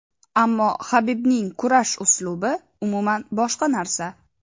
Ammo Habibning kurash uslubi umuman boshqa narsa.